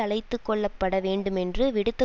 அழைத்துக்கொள்ளப்பட வேண்டுமென்று விடுத்த